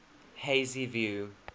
hazyview